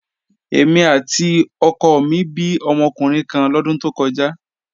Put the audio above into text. Èmi àti ọkọ mi bí ọmọkùnrin kan lọ́dún tó kọjá.